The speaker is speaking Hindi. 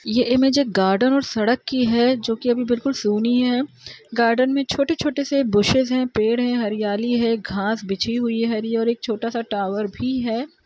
ढेर सारा लोग नहाते हैं और यहाँ पे एक ठोर लाइट भी साइड मे लगा हुआ है ।